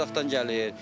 Qazaxdan gəlir.